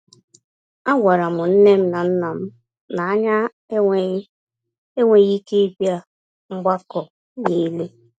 A gwara m nnem na nnam na-anya enweghị enweghị ike ịbịa mgbakọ n'ile